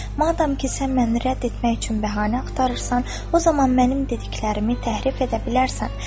Madam ki, sən məni rədd etmək üçün bəhanə axtarırsan, o zaman mənim dediklərimi təhrif edə bilərsən.